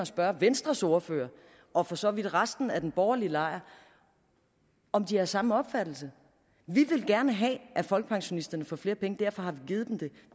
spørge venstres ordfører og for så vidt resten af den borgerlige lejr om de har samme opfattelse vi vil gerne have at folkepensionisterne får flere penge og derfor har vi givet dem det